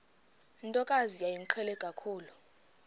ntokazi yayimqhele kakhulu